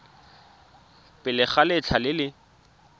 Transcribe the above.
pele ga letlha le le